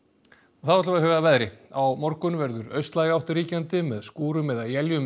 og þá að veðri á morgun verður austlæg átt ríkjandi með skúrum eða éljum